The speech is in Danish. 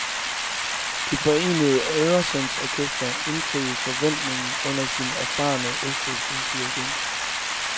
Det forenede øresundsorkester indfriede forventningen under sin erfarne østrigske dirigent.